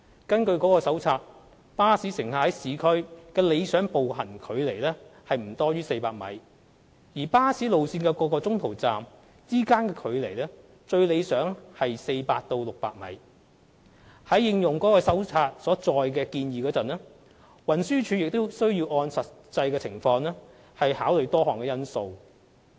根據該手冊，巴士乘客在市區的理想步行距離為不多於400米，而巴士路線各中途站之間的最理想距離為400米至600米。在應用該手冊所載的建議時，運輸署亦需按實際情況考慮多項因素。